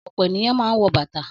Ọ̀pọ̀ ènìyàn máa ń wọ bàtà.